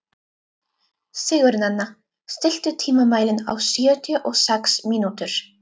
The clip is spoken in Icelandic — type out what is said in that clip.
Sigurnanna, stilltu tímamælinn á sjötíu og sex mínútur.